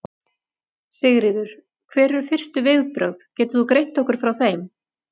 Sigríður: Hver eru fyrstu viðbrögð, getur þú greint okkur frá þeim?